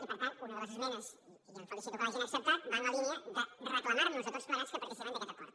i per tant una de les esmenes i em felicito que l’hagin acceptat va en la línia de reclamar nos a tots plegats que participem d’aquest acord